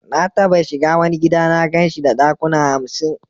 Na taba shiga wani gida na gan shi da dakuna hamsin.